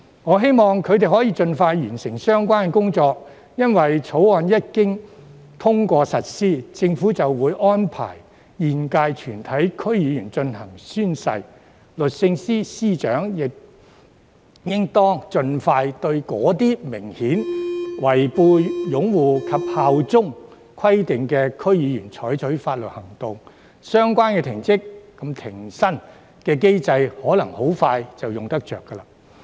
我希望他們可以盡快完成相關工作，因為《條例草案》一經通過實施，政府便會安排現屆全體區議員進行宣誓，律政司司長亦應當盡快對一些明顯違背擁護及效忠規定的區議員採取法律行動，相關停職及停薪機制很可能很快便派用場。